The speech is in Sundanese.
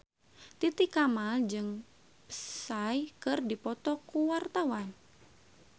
Titi Kamal jeung Psy keur dipoto ku wartawan